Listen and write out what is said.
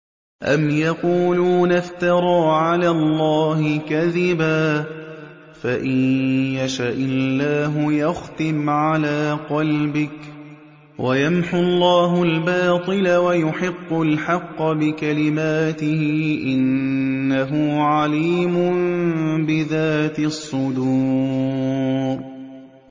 أَمْ يَقُولُونَ افْتَرَىٰ عَلَى اللَّهِ كَذِبًا ۖ فَإِن يَشَإِ اللَّهُ يَخْتِمْ عَلَىٰ قَلْبِكَ ۗ وَيَمْحُ اللَّهُ الْبَاطِلَ وَيُحِقُّ الْحَقَّ بِكَلِمَاتِهِ ۚ إِنَّهُ عَلِيمٌ بِذَاتِ الصُّدُورِ